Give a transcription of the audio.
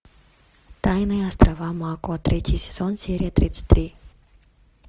тайные острова мако третий сезон серия тридцать три